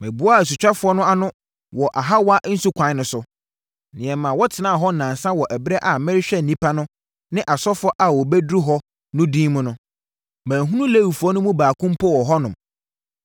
Meboaa asutwafoɔ no ano wɔ Ahawa nsukwan no so, na yɛmaa wɔtenaa hɔ nnansa wɔ ɛberɛ a merehwɛ nnipa no ne asɔfoɔ a wɔabɛduru hɔ no din mu no. Manhunu Lewifoɔ no mu baako mpo wɔ hɔnom.